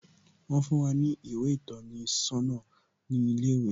Wón fún wá ní ìwé ìtọ́ni sọ́nà ní ilé ìwé